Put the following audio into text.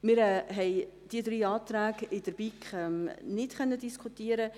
Wir konnten die drei Anträge in der BiK nicht diskutieren.